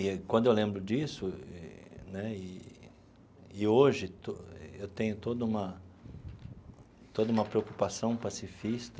E quando eu lembro disso né e, e hoje eu tenho toda uma toda uma preocupação pacifista,